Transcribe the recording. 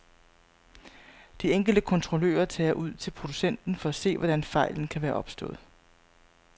De enkelte kontrollører tager ud til producenten for at se, hvordan fejlen kan være opstået.